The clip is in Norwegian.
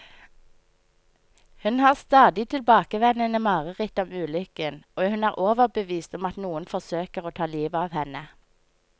Hun har stadig tilbakevendende mareritt om ulykken, og hun er overbevist om at noen forsøker å ta livet av henne.